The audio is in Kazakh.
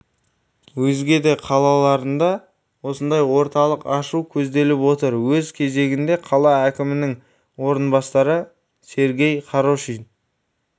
өзге де ларында осындай орталықты ашу көзделіп отыр өз кезегінде қала әкімінің орынбасары сергей хорошин